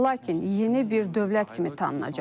Lakin yeni bir dövlət kimi tanınacaq.